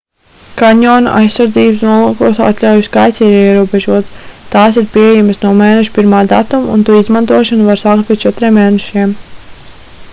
kanjona aizsardzības nolūkos atļauju skaits ir ierobežots tās ir pieejamas no mēneša 1. datuma un to izmantošanu var sākt pēc četriem mēnešiem